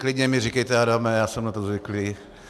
Klidně mi říkejte Adame, já jsem na to zvyklý.